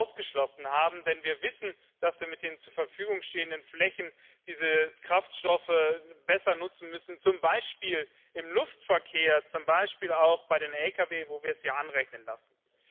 ausgeschlossen haben, denn wir wissen, dass wir mit den zur Verfügung stehenden Flächen diese Kraftstoffe besser nutzen müssen, zum Beispiel im Luftverkehr, zum Beispiel auch bei den Lkw, wo wir es ja anrechnen lassen.